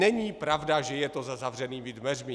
Není pravda, že je to za zavřenými dveřmi.